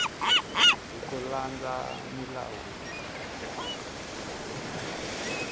hi ku landza milawu leyi